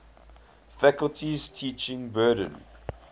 faculty's teaching burden